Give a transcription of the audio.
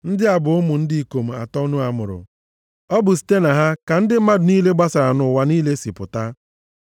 Ndị a bụ ụmụ ndị ikom atọ Noa mụrụ. Ọ bụ site na ha ka ndị mmadụ niile gbasara nʼụwa niile si pụta.